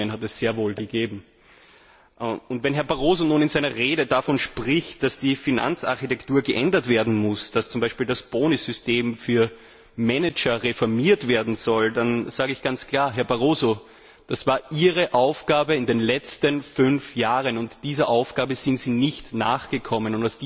Diese Warnungen hat es sehr wohl gegeben. Wenn Herr Barroso in seiner Rede nun davon spricht, dass die Finanzarchitektur geändert werden muss, dass zum Beispiel das Bonussystem für Manager reformiert werden soll, dann sage ich ganz klar Herr Barroso, das war Ihre Aufgabe in den letzten fünf Jahren, und dieser Aufgabe sind Sie nicht nachgekommen!